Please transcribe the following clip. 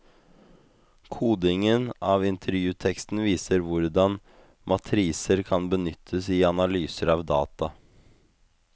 Kodingen av intervjuteksten viser hvordan matriser kan benyttes i analyser av data.